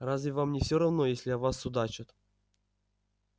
разве вам не всё равно если о вас судачат